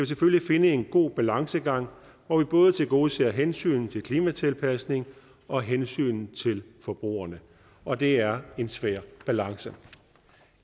selvfølgelig finde en god balancegang hvor vi både tilgodeser hensynet til klimatilpasningen og hensynet til forbrugerne og det er en svær balance